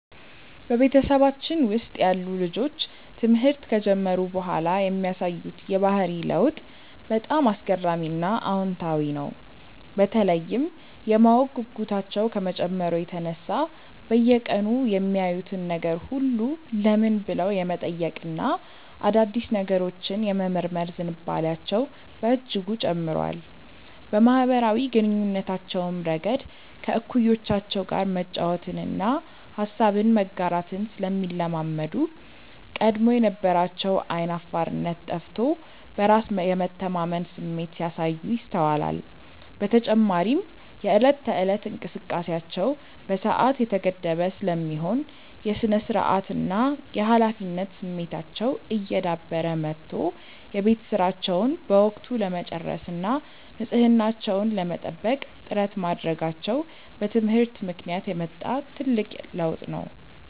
በቤተሰባችን ውስጥ ያሉ ልጆች ትምህርት ከጀመሩ በኋላ የሚያሳዩት የባህሪ ለውጥ በጣም አስገራሚና አዎንታዊ ነው፤ በተለይም የማወቅ ጉጉታቸው ከመጨመሩ የተነሳ በየቀኑ የሚያዩትን ነገር ሁሉ "ለምን?" ብለው የመጠየቅና አዳዲስ ነገሮችን የመመርመር ዝንባሌያቸው በእጅጉ ጨምሯል። በማኅበራዊ ግንኙነታቸውም ረገድ ከእኩዮቻቸው ጋር መጫወትንና ሐሳብን መጋራትን ስለሚለማመዱ፣ ቀድሞ የነበራቸው ዓይን አፋርነት ጠፍቶ በራስ የመተማመን ስሜት ሲያሳዩ ይስተዋላል። በተጨማሪም የዕለት ተዕለት እንቅስቃሴያቸው በሰዓት የተገደበ ስለሚሆን፣ የሥነ-ስርዓትና የኃላፊነት ስሜታቸው እየዳበረ መጥቶ የቤት ሥራቸውን በወቅቱ ለመጨረስና ንጽሕናቸውን ለመጠበቅ ጥረት ማድረጋቸው በትምህርት ምክንያት የመጣ ትልቅ ለውጥ ነው።